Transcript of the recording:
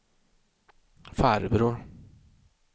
farbror